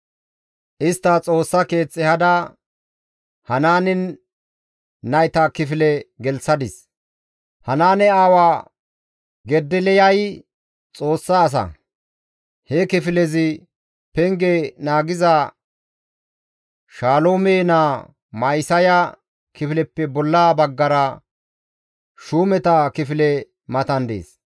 Istta Xoossa keeth ehada Hanaane nayta kifile gelththadis; Hanaane aawa Gedeliyay Xoossa asa; he kifilezi penge naagiza Shaloome naa Ma7isaya kifileppe bolla baggara shuumeta kifile matan dees.